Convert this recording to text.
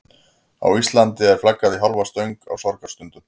Á Íslandi er flaggað í hálfa stöng á sorgarstundum.